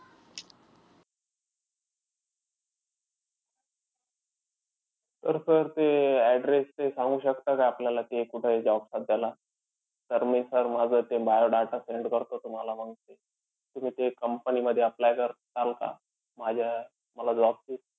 तर sir ते address ते सांगू शकता का, आपल्याला ते कुठंय job सध्याला? तर मी sir माझं ते biodata send करतो तुम्हाला मंग ते. तुम्ही ते company मध्ये apply करसाल का? माझ्या मला job ची